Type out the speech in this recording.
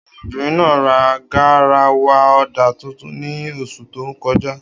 Obìnrin náà ra garawa ọ̀dà tuntun ní oṣù tó kọjá.